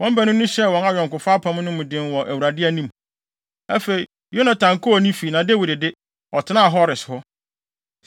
Wɔn baanu no hyɛɛ wɔn ayɔnkofa apam mu den wɔ Awurade anim. Afei, Yonatan kɔɔ fie na Dawid de, ɔtenaa Hores hɔ.